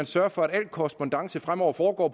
sørger for at al korrespondance fremover foregår